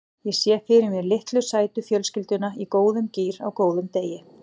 Ég sé fyrir mér litlu sætu fjölskylduna í góðum gír á góðum degi.